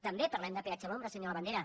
també parlem de peatge a l’ombra senyor labandera